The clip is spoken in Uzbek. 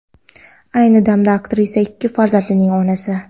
Ayni damda aktrisa ikki farzandning onasi.